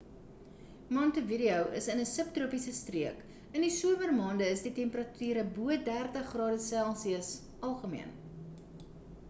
montevideo is in ‘n subtropiese streek; in die somermaande is temperature van bo +30°c algemeen